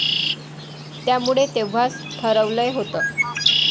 त्यामुळे तेव्हाच ठरवलं होत.